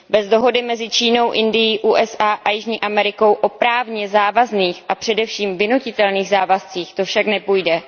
Bez dohody mezi Čínou, Indií, USA a Jižní Amerikou o právně závazných a především vynutitelných závazcích to však nepůjde.